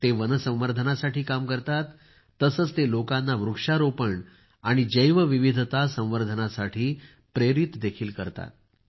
ते वन संवर्धनासाठी काम करतात तसेच ते लोकांना वृक्षारोपण आणि जैवविविधता संवर्धनासाठी प्रेरित देखील करतात